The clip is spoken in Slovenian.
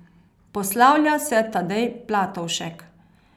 Poslavlja se Tadej Platovšek.